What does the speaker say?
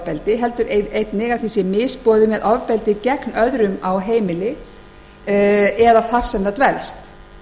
ofbeldi heldur einnig að því sé misboðið með ofbeldi gegn öðrum á heimili eða þar sem það dvelst